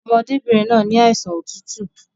Ọmọdébìnrin náà ni àìsàn otútù